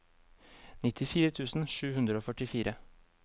nittifire tusen sju hundre og førtifire